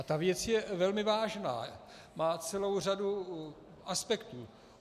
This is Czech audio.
A ta věc je velmi vážná, má celou řadu aspektů.